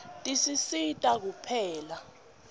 tisisita kupheka